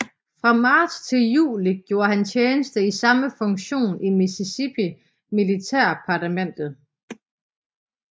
Fra marts til juli gjorde han tjeneste i samme funktion i Mississippi militærdepartementet